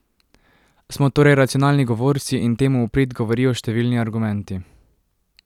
Smo torej racionalni govorci in temu v prid govorijo številni argumenti.